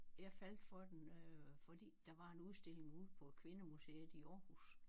Jeg faldt for den øh fordi der var en udstilling ude på Kvindemuseet i Aarhus